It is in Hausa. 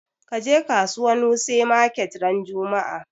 Kaje kasuwan wuse market ran juma'a!